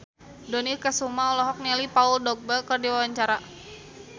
Dony Kesuma olohok ningali Paul Dogba keur diwawancara